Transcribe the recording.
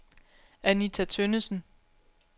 Anita Tønnesen